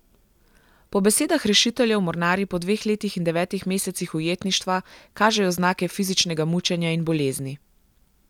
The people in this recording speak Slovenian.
Po besedah rešiteljev mornarji po dveh letih in devetih mesecih ujetništva kažejo znake fizičnega mučenja in bolezni.